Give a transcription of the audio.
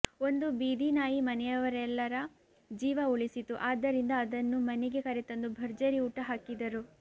ಒಂದು ಬೀದಿ ನಾಯಿ ಮನೆಯವರೆಲ್ಲರ ಜೀವ ಉಳಿಸಿತು ಆದ್ದರಿಂದ ಅದನ್ನು ಮನೆಗೆ ಕರೆತಂದು ಭರ್ಜರಿ ಊಟಹಾಕಿದರು